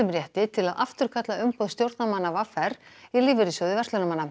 rétti til að afturkalla umboð stjórnarmanna v r í Lífeyrissjóði